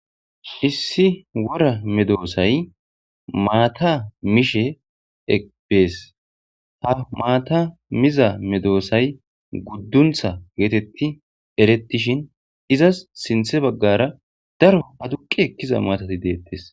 Issi wora medoosay maata mishe eqbees ha maata mizamedoosay gudduntha geetetti erettishin izas sinthe baggara daro haduqi ekkiza maatati deettes.